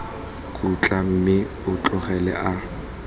khutla mme o tloga a